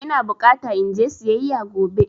Ina bukata in je siyayya gobe.